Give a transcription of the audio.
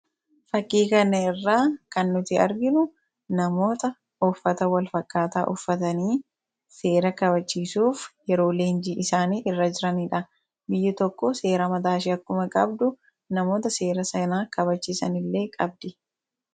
fakiikan irraa kannuti arginu namoota offata wal fakkaataa uffatanii seera kabachiisuuf yeroo leenjii isaanii irra jiraniidha biyya tokko seera mataashii akkuma qabdu namoota seera sanaa kabachiisanillee qabdi